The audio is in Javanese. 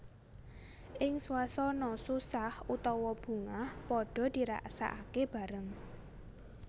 Ing swasana susah utawa bungah padhaa dirasakake bareng